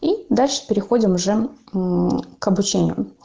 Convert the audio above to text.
и дальше переходим уже к обучению